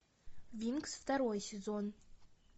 винкс второй сезон